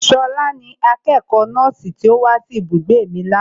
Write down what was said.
Ṣọlá ni akẹ́kọ̀ọ́ nọ́ọ̀sì tí ó wá sí ibùgbé mi ní àná